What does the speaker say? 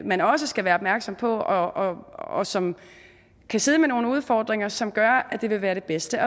man også skal være opmærksom på og og som kan sidde med nogle udfordringer som gør at det vil være det bedste